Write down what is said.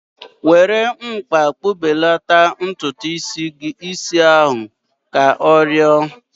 Were mkpa kpụbelata ntutu is ahu! Ka ọ rịọrọ